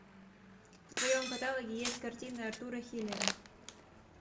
в твоем каталоге есть картины артура хиллера